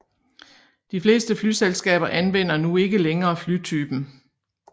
De fleste flyselskaber anvender nu ikke længere flytypen